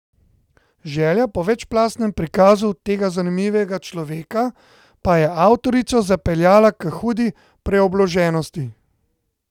Želja po večplastnem prikazu tega zanimivega človeka pa je avtorico zapeljala k hudi preobloženosti.